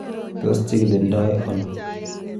Tos kichikildo ono?